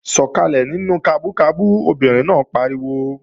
Sọkalẹ nínú kabú kabú! Obìnrin náà pariwo